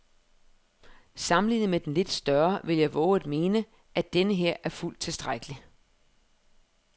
Sammenlignet med den lidt større vil jeg vove at mene, at denneher er fuldt tilstrækkelig.